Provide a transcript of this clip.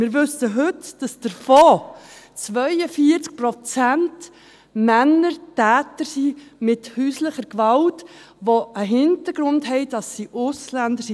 Wir wissen heute, dass davon 42 Prozent Männer Täter von häuslicher Gewalt sind, die den Hintergrund haben, Ausländer zu sein.